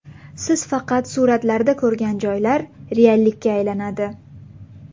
Siz faqat suratlarda ko‘rgan joylar reallikka aylanadi.